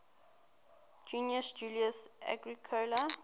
gnaeus julius agricola